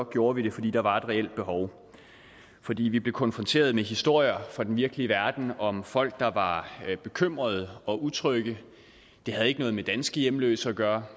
gjorde vi det fordi der var et reelt behov fordi vi blev konfronteret med historier fra den virkelige verden om folk der var bekymrede og utrygge det havde ikke noget med danske hjemløse at gøre